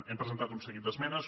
hem presentat un seguit d’esmenes